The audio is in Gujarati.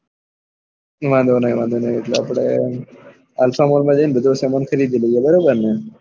વાંધો ની વાંધો ની એટલે અપડે alpha mall માં જઈ ને બધો સામાન ખરીદી લઇએ બરાબર ને